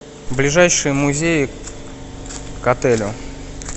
ближайшие музеи к отелю